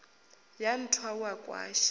a nthwa u a kwasha